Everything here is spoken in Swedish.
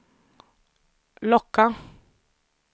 locka